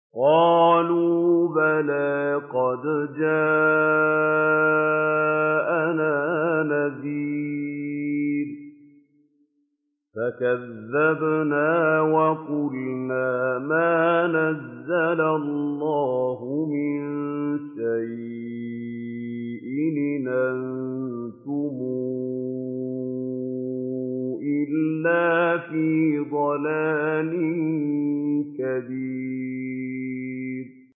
قَالُوا بَلَىٰ قَدْ جَاءَنَا نَذِيرٌ فَكَذَّبْنَا وَقُلْنَا مَا نَزَّلَ اللَّهُ مِن شَيْءٍ إِنْ أَنتُمْ إِلَّا فِي ضَلَالٍ كَبِيرٍ